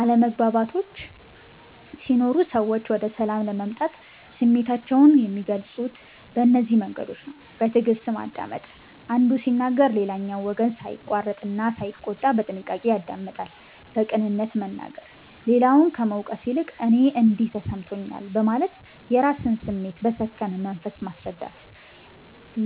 አለመግባባቶች ሲኖሩ ሰዎች ወደ ሰላም ለመምጣት ስሜታቸውን የሚገልጹት በእነዚህ መንገዶች ነው፦ በትዕግስት ማዳመጥ፦ አንዱ ሲናገር ሌላኛው ወገን ሳይቆርጥ እና ሳይቆጣ በጥንቃቄ ያደምጣል። በቅንነት መናገር፦ ሌላውን ከመውቀስ ይልቅ "እኔ እንዲህ ተሰምቶኛል" በማለት የራስን ስሜት በሰከነ መንፈስ ማስረዳት።